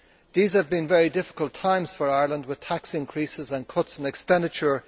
These have been very difficult times for Ireland, with tax increases and cuts in expenditure.